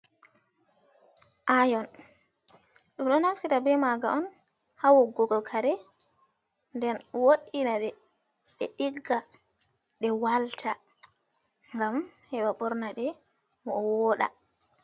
Ayon, ɗum ɗo naftira be maga on, ha wogugo kare, nden wo'ina ɗe, ɗe ɗigga, ɗe walta, gam heɓa bornaɗe, mo woɗa.